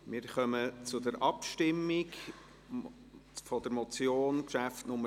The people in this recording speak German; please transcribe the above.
Wir kommen zur Abstimmung der Motion unter dem Traktandum 50.